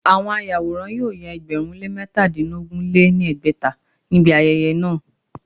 Àwọn àwòrán yóò ya ẹgbẹ̀rún lé métadínogún lé ní ẹgbẹ́ta ní ibi ayẹyẹ náà